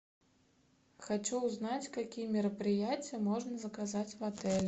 хочу узнать какие мероприятия можно заказать в отеле